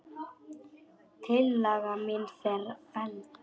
Tillaga mín var felld.